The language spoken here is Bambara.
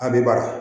An bɛ bara